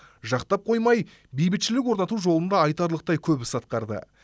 жақтап қоймай бейбітшілік орнату жолында айтарлықтай көп іс атқарды